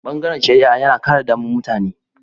Bangaren shari'a yana kare daman mutane.